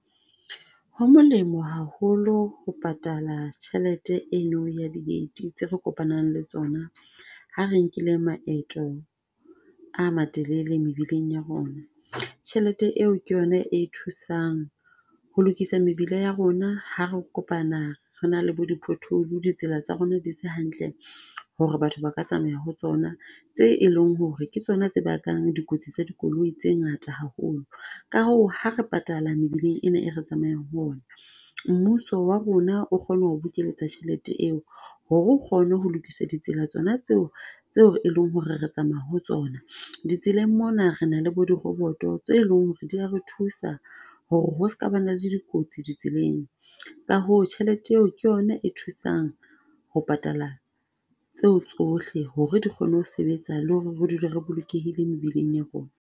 Ho molemo haholo ho patala tjhelete e no ya di date tse re kopanang le tsona ha re nkile maeto a matelele mebileng ya rona. Tjhelete eo ke yona e thusang ho lokisa mebila ya rona ha re kopana re na le bo di pothole, ditsela tsa rona di se hantle, ho re batho ba ka tsamaya ho tsona tse eleng ho re ke tsona tse bakang dikotsi tsa dikoloi tse ngata haholo. Ka hoo, ha re patala mebileng ena e re tsamayang ho ona, mmuso wa rona o kgona ho bokeletsa tjhelete eo, ho re o kgone ho lokiswa ditsela tsona tseo tse o eleng ho re re tsamaya ho tsona. Ditseleng mona re na le bo di robot-o, tse leng ho re di a re thusa a ho re ho ska ba na le dikotsi di tseleng. Ka hoo tjhelete eo ke yona e thusang ho patala tseo tsohle ho re di kgone ho sebetsa le ho re re dule re bolokehile mebileng ya rona.